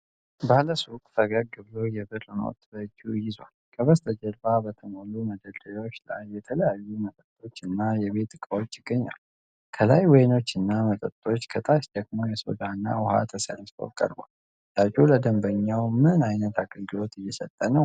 ባለሱቁ ፈገግ ብሎ የብር ኖት በእጁ ይዟል። ከበስተጀርባ በተሞሉ መደርደሪያዎች ላይ የተለያዩ መጠጦችና የቤት እቃዎች ይገኛሉ። ከላይ ወይኖችና መጠጦች፣ ከታች ደግሞ ሶዳና ውሃ ተሰልፈው ቀርበዋል። ሻጩ ለደንበኛው ምን ዓይነት አገልግሎት እየሰጠ ነው?